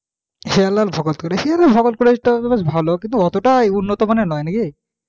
হীরালাল ভগত দেখেছি college Hiralal Bhagat college টাও তো বেশ ভালো কিন্তু অতটা উন্নত মানের নয় নাকি?